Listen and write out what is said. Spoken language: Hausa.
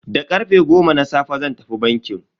Da karfe goma na safe zan tafi banki.